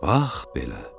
Bax belə.